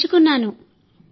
నేను నేర్చుకున్నాను